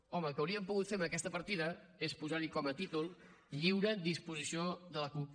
home el que haurien pogut fer amb aquesta partida és posar hi com a títol lliure disposició de la cup